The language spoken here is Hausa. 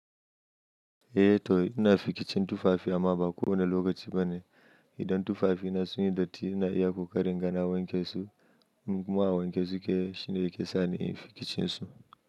Eh Toy, ina fikicin tufafi amma ba kowane lokaci bane. Idan tufafina sun yi datti ina iya ƙoƙarin gana wanke su. Muƙaman wanke su ke shine ke sa ni in fi kicin su.